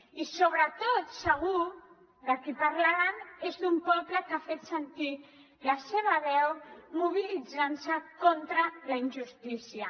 i sobretot segur de qui parlaran és d’un poble que ha fet sentir la seva veu mobilitzant se contra la injustícia